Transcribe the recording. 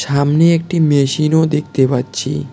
সামনে একটি মেশিনও দেখতে পাচ্ছি।